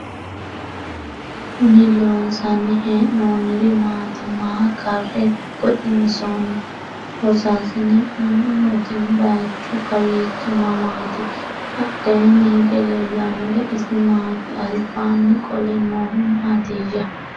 Kinni loonsanni hee'noonniri maati? Maa karre goxinsoonni? Loosaassinne ayiootti? Bayiichchu kawiichchi mamaatti? Badheenni hige leelannori isi maatti? Alibbanni qole noohu maattiya?